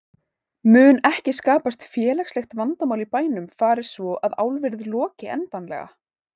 Mun ekki skapast félagslegt vandamál í bænum fari svo að álverið loki endanlega?